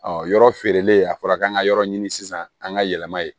yɔrɔ feerelen a fɔra k'an ka yɔrɔ ɲini sisan an ka yɛlɛma ye